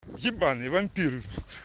ебаный вампир